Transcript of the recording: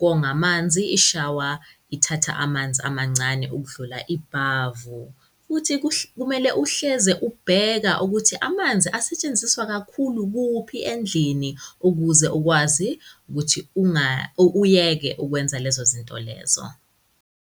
konga manzi, ishawa ithatha amanzi amancane ukudlula ibhavu. Futhi kumele uhleze ubheka ukuthi amanzi asetshenziswa kakhulu kuphi endlini ukuze ukwazi kuthi uyeke ukwenza lezo zinto lezo.